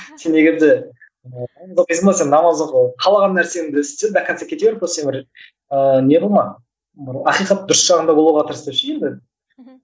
сен егер де ыыы намаз оқы қалаған нәрсеңді істе до конца кете бер просто сен бір ыыы не қылма ақиқат дұрыс жағында болуға тырыс деп ше енді мхм